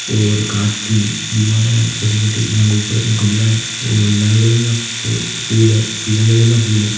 और कांच की दीवार है छोटे-छोटे जा ऊपर गमला हैऔर लाल कलर का फू फूल है पीला कलर का फूल है।